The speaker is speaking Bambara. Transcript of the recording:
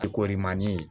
I korimani